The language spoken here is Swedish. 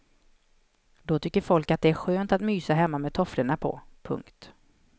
Då tycker folk att det är skönt att mysa hemma med tofflorna på. punkt